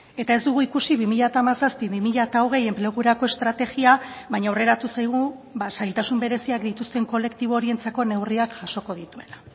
eta ez dugu ikusi bi mila hamazazpi bi mila hogei enplegurako estrategia baina aurreratu zaigu zailtasun bereziak dituzten kolektibo horientzako neurriak jasoko dituela